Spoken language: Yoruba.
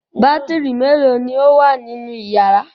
Bátírí mélòó ni ó wà nínú ìyàrá?